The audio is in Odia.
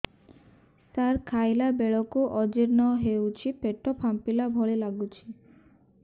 ସାର ଖାଇଲା ବେଳକୁ ଅଜିର୍ଣ ହେଉଛି ପେଟ ଫାମ୍ପିଲା ଭଳି ଲଗୁଛି